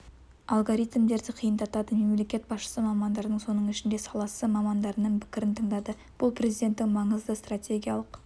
алгоритмдерді қиындатады мемлекет басшысы мамандардың соның ішінде саласы мамандарының пікірін тыңдады бұл президенттің маңызды стратегиялық